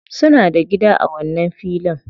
Suna da gida a wannan filin.